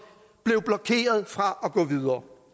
blev blokeret fra at gå videre